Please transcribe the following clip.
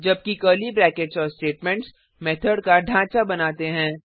जबकि curly brackets और statements method का ढाँचा बनाते हैं